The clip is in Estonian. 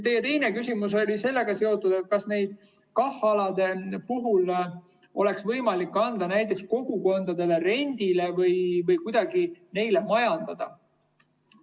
Teie teine küsimus oli seotud sellega, kas nende KAH‑alade puhul oleks võimalik anda metsa kogukondadele rendile või kuidagi neile majandada.